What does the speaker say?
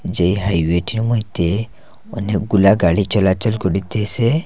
যেই হাইওয়েটির মইধ্যে অনেকগুলা গাড়ি চলাচল করিতেসে।